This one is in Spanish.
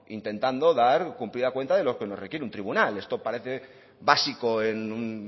intentando dar cumplida cuenta de lo que nos requiere un tribunal esto parece básico en un